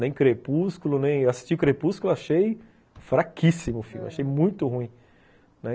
Nem Crepúsculo, nem... assisti o Crepúsculo, achei fraquíssimo o filme, achei muito ruim, né.